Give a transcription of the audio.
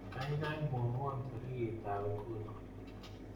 Gaigai mwawon tarikitab nguno